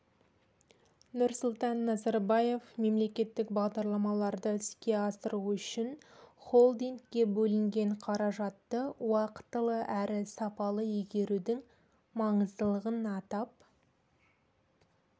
нұрсұлтан назарбаев мемлекеттік бағдарламаларды іске асыру үшін холдингке бөлінген қаражатты уақтылы әрі сапалы игерудің маңыздылығын атап